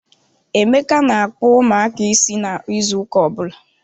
Emeka na-akpu ụmụaka is na ịzụ ụka ọbụla.